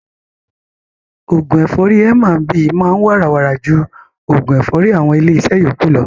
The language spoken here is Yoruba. Oògún ẹ̀fọ́rì M&B máa ń wàrà wàrà ju oògún ẹ̀fọ́rì àwọn ilé iṣẹ́ yókù lọ.